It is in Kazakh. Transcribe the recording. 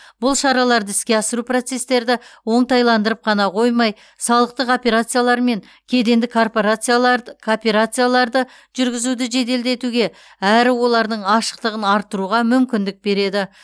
бұл шараларды іске асыру процестерді оңтайландырып қана қоймай салықтық операциялар мен кедендік кооперацияларды жүргізуді жеделдетуге әрі олардың ашықтығын арттыруға мүмкіндік береді